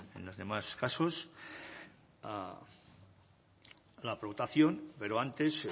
en los demás casos a la votación pero antes